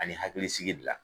Ani hakilisigi die la